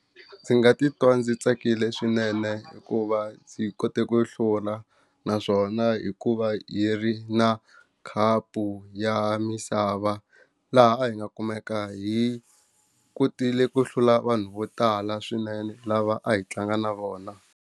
Ndzi nga titwa ndzi tsakile swinene hikuva ndzi kote ku hlula naswona hikuva hi ri na khapu ya misava laha a hi nga kumeka hi kotile ku hlula vanhu vo tala swinene lava a hi tlanga na vona.